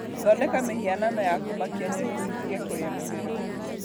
Thondeka mĩhianano ya kũmakia nyoni citige kũrĩa mĩmera